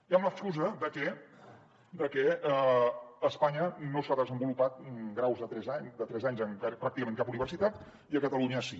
i amb l’excusa de que a espanya no s’han desenvolupat graus de tres anys en pràcticament cap universitat i a catalunya sí